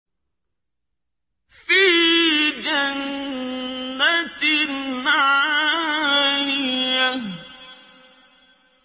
فِي جَنَّةٍ عَالِيَةٍ